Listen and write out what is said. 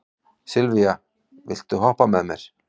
Sylvía, viltu hoppa með mér?